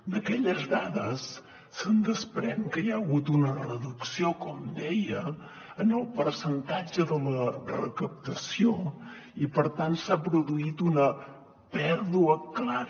d’aquelles dades es desprèn que hi ha hagut una reducció com deia en el percentatge de la recaptació i per tant s’ha produït una pèrdua clara